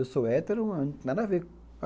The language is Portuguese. Eu sou hétero, nada a ver.